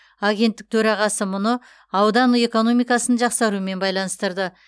агенттік төрағасы мұны аудан экономикасының жақсаруымен байланыстырды